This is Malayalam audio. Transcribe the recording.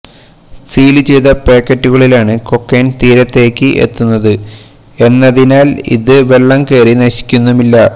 സീല് ചെയ്ത പാക്കറ്റുകളിലാണ് കൊക്കെയ്ൻ തീരത്തേക്ക് എത്തുന്നത് എന്നതിനാല് ഇത് വെള്ളം കയറി നശിക്കുന്നുമില്ല